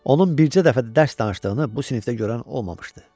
Onun bircə dəfə də dərs danışdığını bu sinifdə görən olmamışdı.